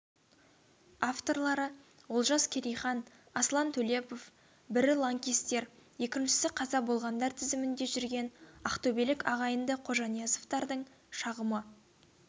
авторлары олжас керейхан аслан төлепов бірі лаңкестер екіншісі қаза болғандар тізімінде жүрген ақтөбелік ағайынды қожаниязовтардың шағымы